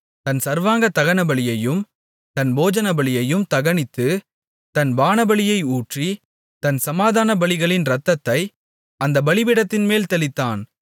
தன் சர்வாங்க தகனபலியையும் தன் போஜனபலியையும் தகனித்து தன் பானபலியை ஊற்றி தன் சமாதானபலிகளின் இரத்தத்தை அந்தப் பலிபீடத்தின்மேல் தெளித்தான்